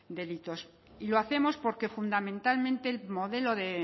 delitos y lo hacemos porque fundamentalmente el modelo